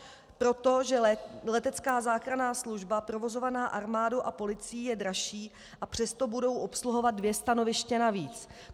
Protože letecká záchranná služba provozovaná armádou a policií je dražší, a přesto budou obsluhovat dvě stanoviště navíc.